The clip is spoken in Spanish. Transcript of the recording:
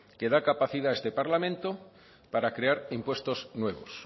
que da capacidad a este parlamento para crear impuestos nuevos